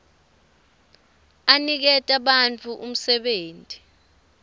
aniketa bantfu umsebenti